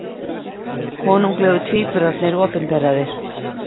Konunglegu tvíburarnir opinberaðir